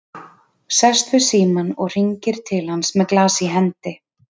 Sest við símann og hringir til hans með glas í hendi.